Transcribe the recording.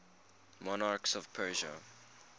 monarchs of persia